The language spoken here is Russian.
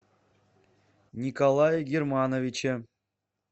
николае германовиче